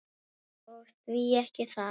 Og því ekki það.